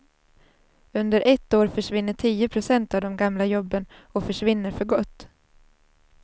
Under ett år försvinner tio procent av de gamla jobben och försvinner för gott.